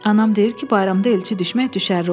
Anam deyir ki, bayramda elçi düşmək düşərli olur.